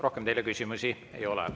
Rohkem teile küsimusi ei ole.